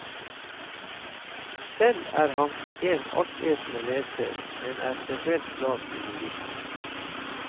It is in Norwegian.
Selv er han en altetende leser, men er spesielt glad i lyrikk.